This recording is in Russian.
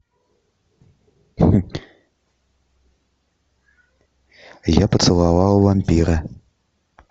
я поцеловал вампира